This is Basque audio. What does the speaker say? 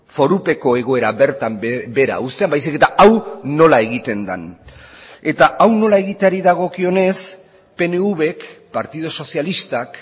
forupeko egoera bertan behera uztean baizik eta hau nola egiten den eta hau nola egiteari dagokionez pnvk partidu sozialistak